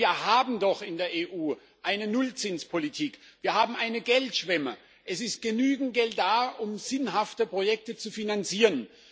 Denn wir haben doch in der EU eine Nullzinspolitik, wir haben eine Geldschwemme, es ist genügend Geld da, um sinnhafte Projekte zu finanzieren.